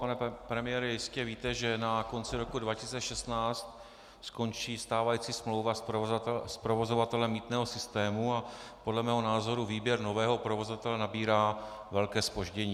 Pane premiére, jistě víte, že na konci roku 2016 skončí stávající smlouva s provozovatelem mýtného systému a podle mého názoru výběr nového provozovatele nabírá velké zpoždění.